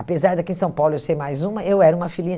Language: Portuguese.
Apesar daqui de São Paulo eu ser mais uma, eu era uma filhinha.